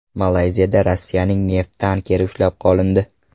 Malayziyada Rossiyaning neft tankeri ushlab qolindi.